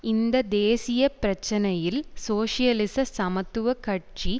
இந்த தேசிய பிரச்சினையில் சோசியலிச சமத்துவ கட்சி